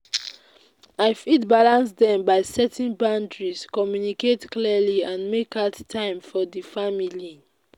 i fit balance dem by setting boundaries communicate clearly and make out time for di family.